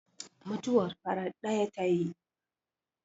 mutuwar farat daya ta yi!